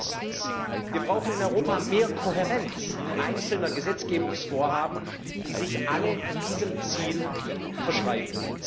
Erstens Wir brauchen in Europa mehr Kohärenz einzelner Gesetzgebungsvorhaben, die sich alle diesem Ziel verschreiben.